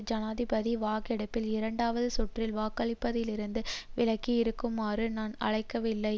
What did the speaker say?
ஜனாதிபதி வாக்கெடுப்பில் இரண்டாவது சுற்றில் வாக்களிப்பதிலிருந்து விலகி இருக்குமாறு நான் அழைக்கவில்லை